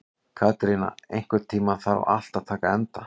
Katerína, einhvern tímann þarf allt að taka enda.